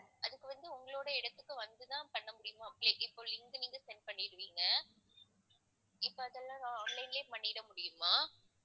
அதுக்கு வந்து உங்களோட இடத்துக்கு வந்துதான் பண்ண முடியுமா இப்ப link நீங்க send பண்ணிடுவீங்க. இப்ப அதெல்லாம் நான் online லயே பண்ணிட முடியுமா?